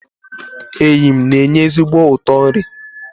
eyịm na-enye ezigbo ụtọ nri